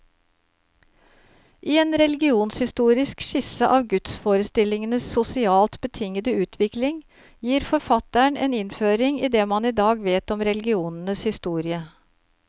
I en religionshistorisk skisse av gudsforestillingenes sosialt betingede utvikling, gir forfatteren en innføring i det man i dag vet om religionens historie.